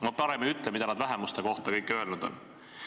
Ma parem ei ütle, mida kõike nad vähemuste kohta öelnud on.